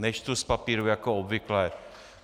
Nečtu z papírů jako obvykle.